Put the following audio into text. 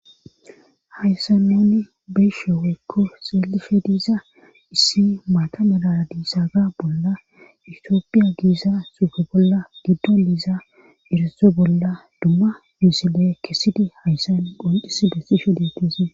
Hayssa nuni beshe woykko xeelife diiza issi maata malaa diisaaga bolla itiophiya giiza xuufe bolla giddo diiza iriso bolla dumma biisile kessidi hayssan phonxis bestisho deetizi.